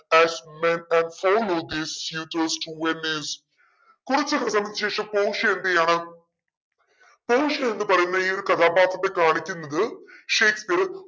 to venice കുറച്ചു ദിവസത്തിനു ശേഷം പോഷിയ എന്തെയുവാണ് പോഷിയ എന്നു പറയുന്ന ഈ ഒരു കഥാപാത്രത്തെ കാണിക്കുന്നത് ഷേക്‌സ്‌പിയർ